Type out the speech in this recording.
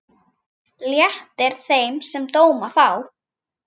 Léttir þeim, sem dóma fá.